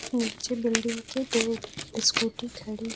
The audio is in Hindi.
नीचे बिल्डिंग के दो स्कूटी खड़ी है।